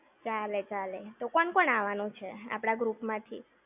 ચાલે ચાલે. તો કોણ કોણ આવાનું છે આપણા group માંથી?